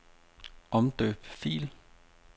Omdøb fil.